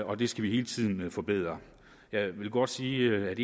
og det skal vi hele tiden forbedre jeg vil godt sige at et af